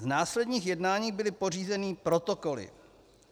Z následných jednání byly pořízeny protokoly.